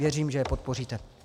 Věřím, že je podpoříte.